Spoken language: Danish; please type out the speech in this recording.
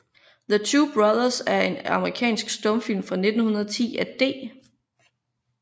The Two Brothers er en amerikansk stumfilm fra 1910 af D